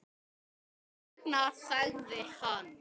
Þess vegna þagði hann.